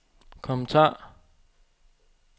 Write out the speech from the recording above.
kommentar